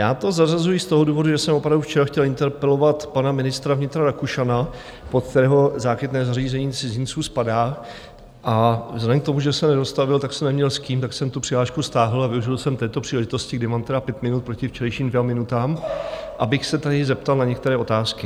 Já to zařazuji z toho důvodu, že jsem opravdu včera chtěl interpelovat pana ministra vnitra Rakušana, pod kterého Záchytné zařízení cizinců spadá, a vzhledem k tomu, že se nedostavil, tak jsem neměl s kým, tak jsem tu přihlášku stáhl a využil jsem této příležitosti, kdy mám tedy pět minut proti včerejším dvěma minutám, abych se tady zeptal na některé otázky.